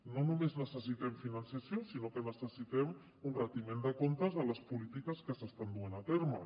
no només necessitem finançament sinó que necessitem un retiment de comptes de les polítiques que s’estan duent a terme